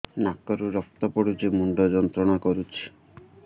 ନାକ ରୁ ରକ୍ତ ପଡ଼ୁଛି ମୁଣ୍ଡ ଯନ୍ତ୍ରଣା କରୁଛି